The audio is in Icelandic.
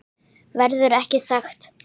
Verður ekki sagt.